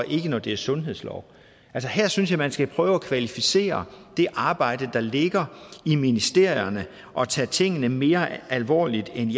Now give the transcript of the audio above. ikke når det er sundhedslov her synes jeg man skal prøve at kvalificere det arbejde der ligger i ministerierne og tage tingene mere alvorligt end